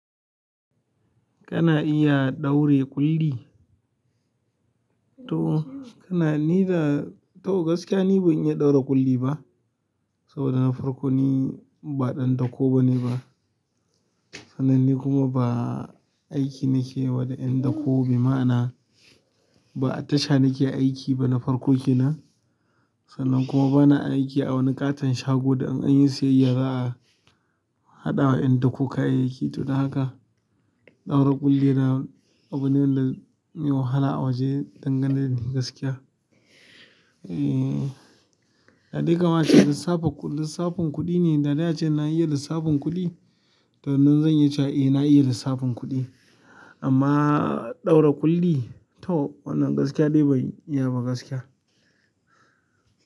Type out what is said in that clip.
Kana iya ɗaure ƙulli? To, kana ni da-- to gaskiya ni ban iya ɗaure ƙulli ba. Saboda na farko ni ba ɗan dako bane ba. Sanan ni kuma ba aiki nake yi wa da indako be ma'ana ba tasha nake aiki ba na farko kenan. Sannan kuma bana aiki a wani ƙaton shago da, an-an yi siyyaya za, a haɗawa yan dako kayiyyi ki. To, da haka ɗaura ƙulli yana abu ne da me wahala a waje danganin dai gaskiya. Eeh, da dai kamace lissafa, lissafin kuɗi ne. Da dai ace na iya lissafin kuɗi to nan zan yi cewa eh na iya lissafin kuɗi. Amma ɗaura kulli to wannan gaskiya dai ban iya ba gaskiya.